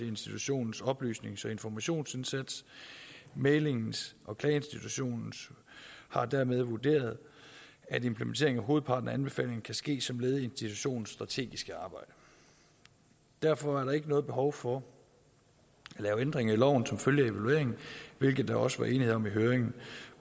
institutionens oplysnings og informationsindsats mæglings og klageinstitutionen har dermed vurderet at implementeringen af hovedparten af anbefalingerne kan ske som led i institutionens strategiske arbejde derfor er der ikke noget behov for at lave ændringer i loven som følge af evalueringen hvilket der også var enighed om i høringen